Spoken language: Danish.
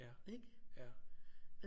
Ikke